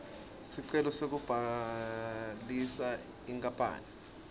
sicelo sekubhalisa inkapani